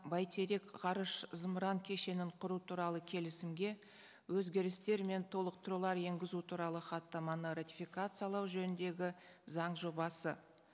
бәйтерек ғарыш зымыран кешеңін құру туралы келісімге өзгерістер мен толықтырулар енгізу туралы хаттаманы ратификациялау жөніндегі заң жобасы